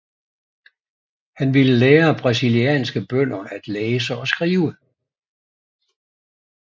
Han ville lære brasilianske bønder at læse og skrive